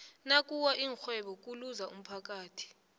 nakuwa ixhwebo kuluza umphathi